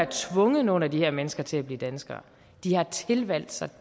tvunget nogen af de her mennesker til at blive danskere de har tilvalgt sig